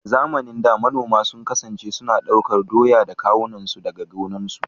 A zamanin da, manoma sun kasance suna ɗaukar doya a kawunansu daga gonakinsu.